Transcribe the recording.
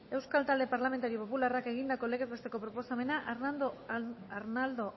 euskal talde parlamentario popularrak egindako legez besteko proposamena arnaldo